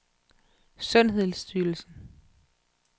sundhedsstyrelsen